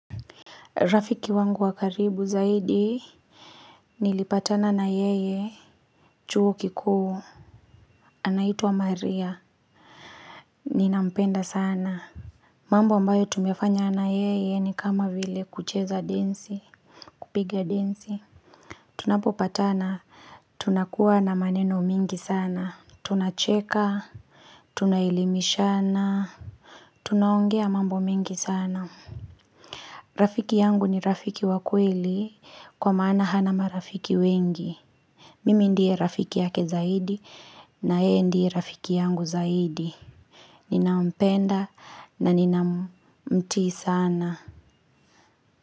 Rafiki wangu wa karibu zaidi Nilipatana na yeye chuo kikuu anaitwa wa maria Ninampenda sana mambo ambayo tumefanya na yeye ni kama vile kucheza densi kupigia densi Tunapo patana Tunakuwa na maneno mingi sana Tunacheka Tunaelimishana Tunaongea mambo mingi sana Rafiki yangu ni rafiki wa kweli kwa maana hana marafiki wengi Mimi ndiye rafiki yake zaidi na yeye ndiye rafiki yangu zaidi Ninampenda na nina mtii sana.